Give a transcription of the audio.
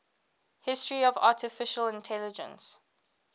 history of artificial intelligence